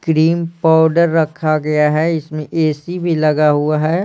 Cream powder रखा गया है इसमें ए _सी भी लगा हुआ है।